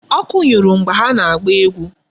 Ọkụ nyụrụ mgbe ha na-agba egwu.